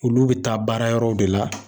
Olu bi taa baara yɔrɔw de la.